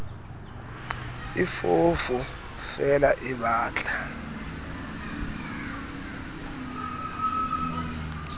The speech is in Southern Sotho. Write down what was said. e foofo feela e batla